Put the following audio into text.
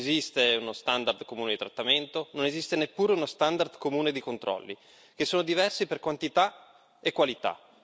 Non esiste uno standard comune di trattamento, non esiste neppure uno standard comune di controlli, che sono diversi per quantità e qualità.